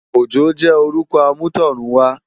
Ojo jè órùkò àmútọ̀runwá